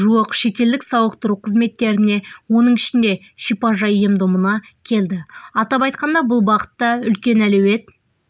жуық шетелдік сауықтыру қызметтеріне оның ішінде шипайжай ем-домына келді атап айтқанда бұл бағытта үлкен әлеует